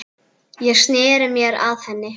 Ég sneri mér að henni.